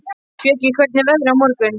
Bjöggi, hvernig er veðrið á morgun?